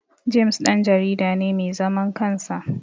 James Dan jarida ne mai zaman kansa